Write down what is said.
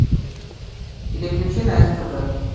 переключи на стб